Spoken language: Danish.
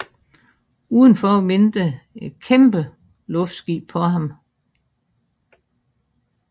Udenfor venter et kæmpe luftskib på ham